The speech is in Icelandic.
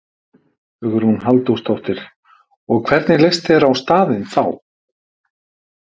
Hugrún Halldórsdóttir: Og, hvernig leist þér á staðinn þá?